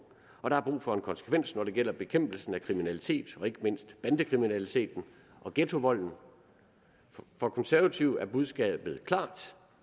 og der er brug for konsekvens når det gælder bekæmpelsen af kriminalitet og ikke mindst bandekriminaliteten og ghettovolden for konservative er budskabet klart